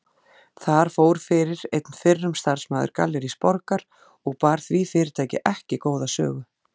Þar fór fyrir einn fyrrum starfsmaður Gallerís Borgar og bar því fyrirtæki ekki góða sögu.